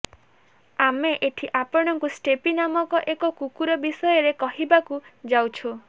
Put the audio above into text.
ଆମେ ଏଠି ଆପଣଙ୍କୁ ଷ୍ଟେଫି ନାମକ ଏକ କୁକୁର ବିଷୟରେ କହିବାକୁ ଯାଉଛୁ